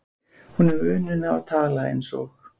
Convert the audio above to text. Hún hefur unun af að tala eins og